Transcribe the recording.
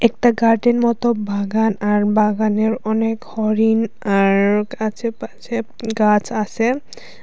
একটা গার্ডেন মত ভাগান আর বাগানের অনেক হরিণ আর আছেপাছে উম গাছ আসে।